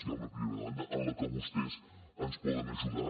hi ha una primera demanda en la que vostès ens poden ajudar